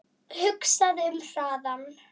Hugsaðu um hraðann